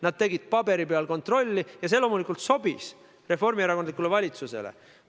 Nad tegid paberi peal kontrolli ja see loomulikult sobis reformierakondlikule valitsusele.